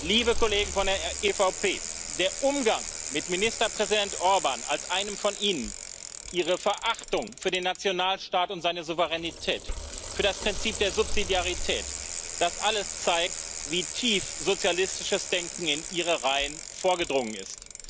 Liebe Kollegen von der EVP, der Umgang mit Ministerpräsident Orbán als einem von Ihnen, Ihre Verachtung für den Nationalstaat und seine Souveränität, für das Prinzip der Subsidiarität das alles zeigt, wie tief sozialistisches Denken in Ihre Reihen vorgedrungen ist.